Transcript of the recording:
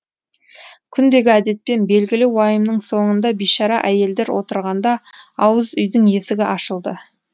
күндегі әдетпен белгілі уайымның соңында бишара әйелдер отырғанда ауыз үйдің есігі ашылды